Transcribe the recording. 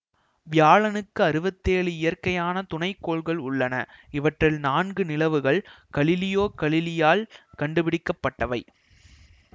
வியாழனுக்கு அறுபத்தேழு இயற்கையான துணை கோள்கள் உள்ளன இவற்றில் நான்கு நிலவுகள் கலீலியோ கலிலியால் கண்டுபிடிக்கப்பட்டவை